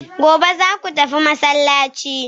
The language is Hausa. gobe zaku tafi masallaci?